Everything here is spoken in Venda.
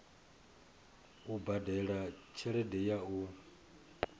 u badela tshelede ya u